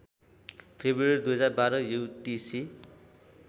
February २०१२ UTC